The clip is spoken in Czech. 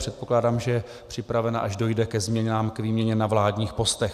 Předpokládám, že je připravena, až dojde ke změnám, k výměně na vládních postech.